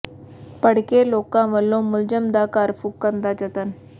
ਭੜਕੇ ਲੋਕਾਂ ਵੱਲੋਂ ਮੁਲਜ਼ਮ ਦਾ ਘਰ ਫੂਕਣ ਦਾ ਯਤਨ